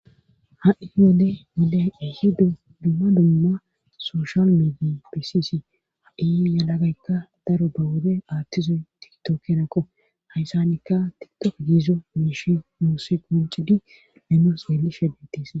Ha'i wode wode ihi dumma dumma soshal medi bisisi a7i yalagaykka daro ba wode aattizoy tiktokenakko hayssanikka tidtof diizo miishi muuse qoncidi memo seeli sheddetis